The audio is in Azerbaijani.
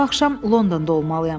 Bu axşam Londonda olmalıyam.